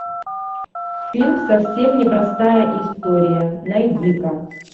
фильм совсем не простая история найди ка